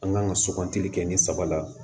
An kan ka sugantili kɛ ni saba la